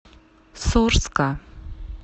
сорска